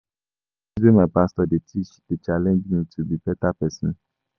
Na di tins wey my pastor dey teach na en de mek me to be beta pesin.